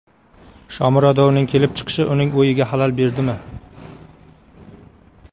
Shomurodovning kelib chiqishi uning o‘yiga xalal berdimi?